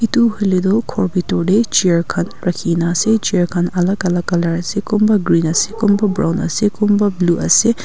etu hoile tu ghor betorte chair khan rakhina ase chair khan alag alag colour asekunba green ase kunba brown ase kunba blue ase.